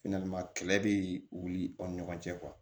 kɛlɛ bɛ wuli aw ni ɲɔgɔn cɛ